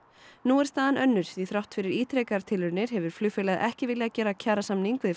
nú er staðan önnur því þrátt fyrir ítrekaðar tilraunir hefur flugfélagið ekki viljað gera kjarasamning við